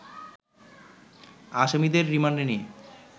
আসামিদের রিমান্ডে নিয়ে